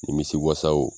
Nimisi wasaw